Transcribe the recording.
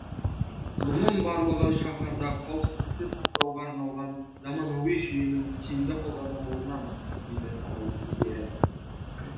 мұның барлығы шаһарда қауіпсіздікті сақтауға арналған заманауи жүйенің тиімді қолданылуынан дейді сала өкілдері